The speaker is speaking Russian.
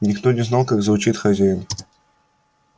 никто не знал как звучит хозяин